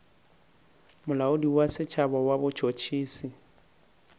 molaodi wa setšhaba wa botšhotšhisi